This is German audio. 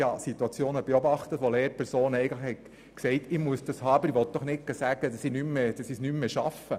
Ich habe Situationen erlebt, in denen Lehrpersonen sagten, sie bräuchten solche Lektionen, wollten aber nicht sagen, sie würden es nicht mehr schaffen.